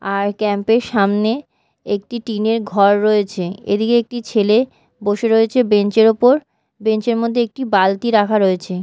আর camp - এর সামনে একটি টিন -এর ঘর রয়েছে এদিকে একটি ছেলে বসে রয়েছে বেঞ্চের ওপর বেঞ্চের মধ্যে একটি বালতি রাখা রয়েছে।